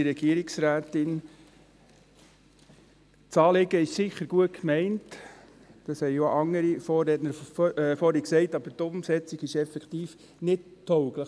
Das Anliegen ist gut gemeint, in der Umsetzung ist es jedoch nicht tauglich.